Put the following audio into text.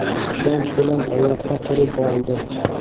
ishonch bilan oyoqqa turib oldi.